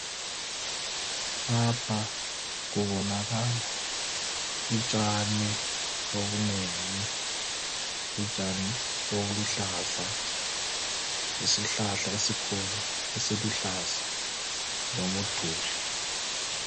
Lapha kubonakala utshani obunengi, utshani obuluhlaza, lesihlahla esikhulu esiluhlaza lomuduli.